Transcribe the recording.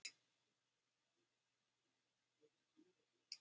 Hjördís: Hvað vinna margir karlmenn hér við gæslu barna, á þessum leikskóla?